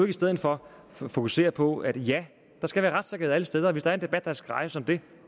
i stedet for fokusere på at der skal være retssikkerhed alle steder og hvis der er en debat der skal rejses om det